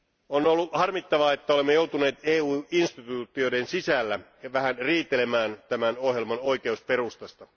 On ollut harmittavaa, että olemme joutuneet EU instituutioiden sisällä vähän riitelemään tämän ohjelman oikeusperustasta.